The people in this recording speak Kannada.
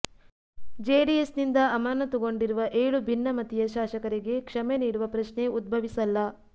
ಜೆಡಿಎಸ್ನಿಂದ ಅಮಾನತುಗೊಂಡಿರುವ ಏಳು ಭಿನ್ನಮತೀಯ ಶಾಸಕರಿಗೆ ಕ್ಷಮೆ ನೀಡುವ ಪ್ರಶ್ನೆ ಉದ್ಭವಿಸಲ್ಲ